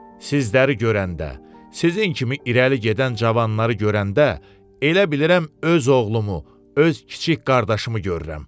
Sizləri görəndə, sizin kimi irəli gedən cavanları görəndə elə bilirəm öz oğlumu, öz kiçik qardaşımı görürəm.